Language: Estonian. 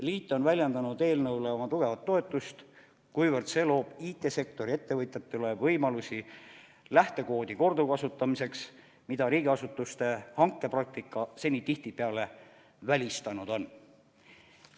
Liit on väljendanud eelnõule oma tugevat toetust, kuivõrd see loob IT-sektori ettevõtjatele võimalusi lähtekoodi korduvkasutamiseks, mida riigiasutuste hankepraktika seni tihtipeale välistanud on.